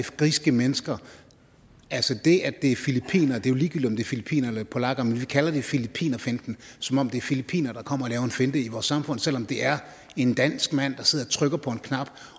griske mennesker det er jo ligegyldigt er filippinere eller polakker men vi kalder det filippinerfinten som om det er filippinere der kommer og laver en finte i vores samfund selv om det er en dansk mand der sidder og trykker på knappen